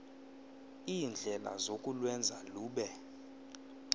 iindlela zokulwenza lube